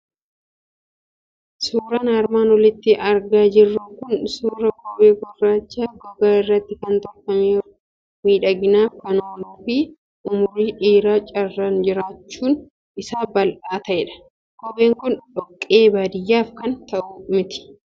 Suuraan armaan olitti argaa jirru kun suuraa kophee gurraacha, gogaa irraatii kan tolfameeru, miidhaginaaf kan oolu, fi umurii dheeraa carraan jirraachuun isaa bal'aa ta'edha. Kopheen kun dhoqqee baadiyaaf kan ta'u miti